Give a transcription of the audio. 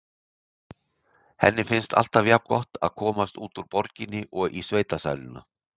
Henni finnst alltaf jafngott að komast út úr borginni og í sveitasæluna.